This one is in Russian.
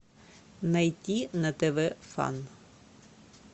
найти на тв фан